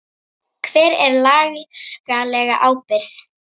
Hver er lagaleg ábyrgð?